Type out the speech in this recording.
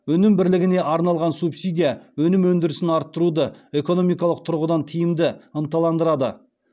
өнім бірлігіне арналған субсидия өнім өндірісін арттыруды экономикалық тұрғыдан тиімді ынталандырады